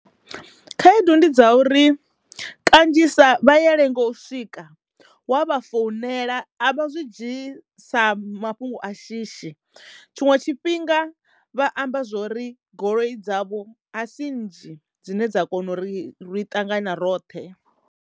Khaedu ndi dza uri kanzhisa vha ya lengo u swika wa vha founela a vha zwi dzhii sa mafhungo a shishi tshiṅwe tshifhinga vha amba zwori goloi dzavho a si nnzhi dzine dza kono uri ri ṱangana na roṱhe.